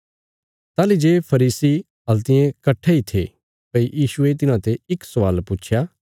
ताहली जे फरीसी हल्तियें कट्ठे इ थे भई यीशुये तिन्हांते इक स्वाल पुच्छया